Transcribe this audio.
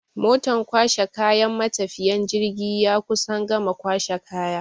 Motan kwashe kayan matafiyan jirgi ya kusan gama kwashe kaya.